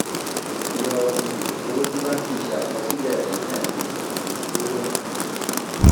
yọ um owó tí báǹkì ṣe àkọsílẹ̀ rẹ̀ ní ẹ̀ẹ̀mejì um kúrò